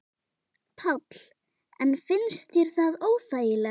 Páll: En finnst þér það óþægilegt?